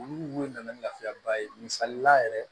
Olu nana ni lafiyaba ye misalila yɛrɛ